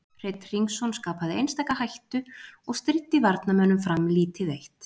Hreinn Hringsson Skapaði einstaka hættu og stríddi varnarmönnum Fram lítið eitt.